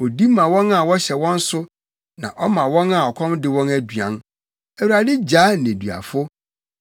Odi ma wɔn a wɔhyɛ wɔn so, na ɔma wɔn a ɔkɔm de wɔn aduan. Awurade gyaa nneduafo,